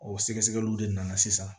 O sɛgɛsɛgɛliw de nana sisan